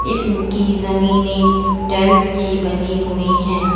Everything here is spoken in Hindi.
इसकी जमीने टाइल्स से बनी हुई है।